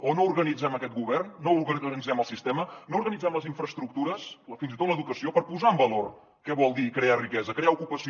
o no organitzem aquest govern no organitzem el sistema no organitzem les infraestructures fins i tot l’educació per posar en valor què vol dir crear riquesa crear ocupació